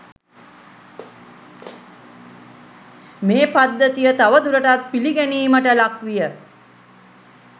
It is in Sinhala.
මෙම පද්ධතිය තවදුරටත් පිළිගැනීමට ලක්විය.